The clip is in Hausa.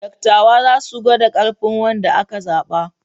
Dattawa za su gwada ƙarfin wanda aka zaɓa.